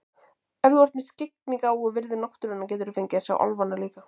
Ef þú ert með skyggnigáfu og virðir náttúruna geturðu fengið að sjá álfana líka.